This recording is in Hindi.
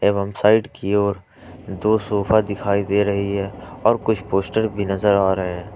एवं साइड की ओर दो सोफा दिखाई दे रही है और कुछ पोस्टर भी नजर आ रहे हैं ।